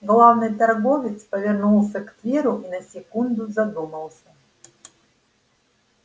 главный торговец повернулся к тверу и на секунду задумался